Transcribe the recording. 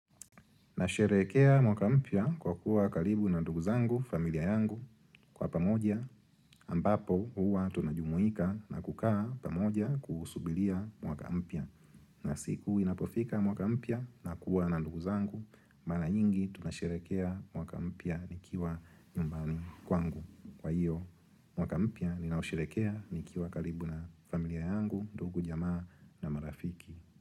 Nasherehekea mwaka mpya kwa kuwa kalibu na ndugu zangu familia yangu kwa pamoja ambapo huwa tunajumuika na kukaa pamoja kuusubilia mwaka mpya. Na siku inapofika mwaka mpya na kuwa na ndugu zangu, mara nyingi tunasherehekea mwaka mpya nikiwa nyumbani kwangu kwa hiyo. Mwaka mpya ninausherehekea nikiwa kalibu na familia yangu, ndugu jamaa na marafiki.